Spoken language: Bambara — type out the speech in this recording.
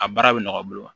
A baara bɛ nɔgɔya